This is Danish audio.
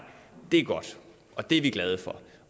det er godt og det er vi glade for